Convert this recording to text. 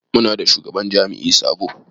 Muna da shugaban jami'i sabo.